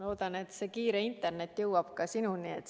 Loodan, et kiire internet jõuab ka sinuni.